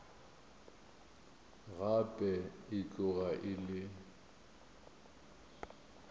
gape e tloga e le